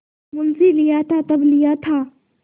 मुंशीलिया था तब लिया था